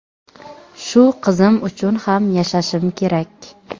Shu qizim uchun ham yashashim kerak.